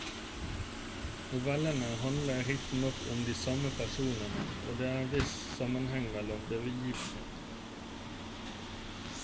Novellene handler riktignok om de samme personer og det er en viss sammenheng mellom begivenhetene.